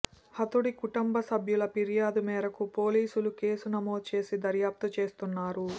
హతుడి కుటుంబ సభ్యుల ఫిర్యాదు మేరకు పోలీసులు కేసు నమోదు చేసి దర్యాప్తు చేస్తున్నారు